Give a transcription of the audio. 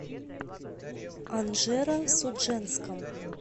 анжеро судженском